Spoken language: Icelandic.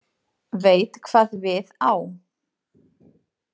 Veit hvað við á.